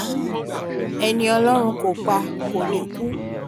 ẹni ọlọ́run kò pa kò ní kú